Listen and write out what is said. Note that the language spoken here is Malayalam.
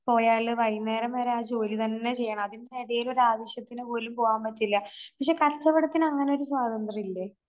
പോയാല് വൈകുന്നേരം വരെ ആ ജോലി തന്നെചെയ്യണം. അതിന്റിടേല് ഒരാവശ്യത്തിന് പോലും പോകാൻ പറ്റില്ല. പക്ഷെ കച്ചവടത്തിന് അങ്ങനൊരു സ്വാതന്ത്രയില്ലേ?